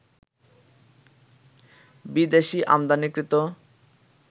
বিদেশি আমদানিকৃত